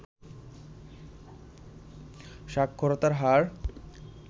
সাক্ষরতার হার